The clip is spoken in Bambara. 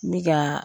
N bɛ ka